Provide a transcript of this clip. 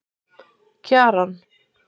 Kjaran